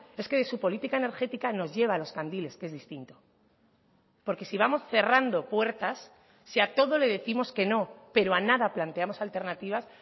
es que de su política energética nos lleva a los candiles que es distinto porque si vamos cerrando puertas si a todo le décimos que no pero a nada planteamos alternativas